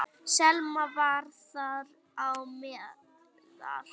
Selma var þar á meðal.